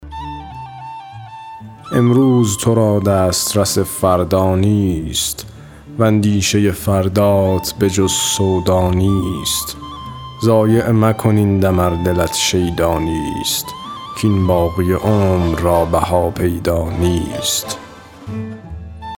امروز تو را دسترس فردا نیست واندیشه فردات به جز سودا نیست ضایع مکن این دم ار دلت شیدا نیست کاین باقی عمر را بها پیدا نیست